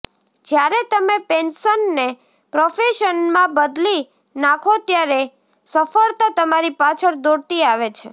જ્યારે તમે પેશનને પ્રોફેશનમાં બદલી નાખો ત્યારે સફળતા તમારી પાછળ દોડતી આવે છે